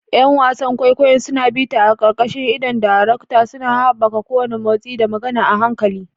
’Yan wasan kwaikwayo suna bita a ƙarƙashin idon darektan, suna haɓaka kowane motsi da magana a hankali.